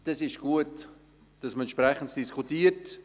Es ist gut, dass man entsprechend darüber diskutiert.